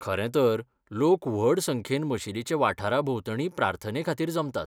खरें तर, लोक व्हड संख्येन मशीदीचे वाठारा भोंवतणीं प्रार्थनेखातीर जमतात.